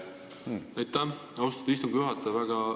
Aitäh, austatud istungi juhataja!